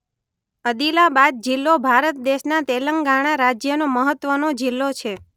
અદિલાબાદ જિલ્લો ભારત દેશના તેલંગાણા રાજ્યનો મહત્વનો જિલ્લો છે.